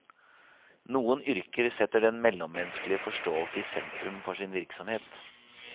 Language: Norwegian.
Noen yrker setter den mellommenneskelige forståelse i sentrum for sin virksomhet.